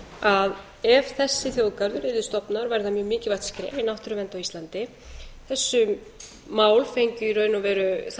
að ef þessi þjóðgarður yrði stofnaður væri það mjög mikilvægt skref í náttúruvernd á íslandi þar með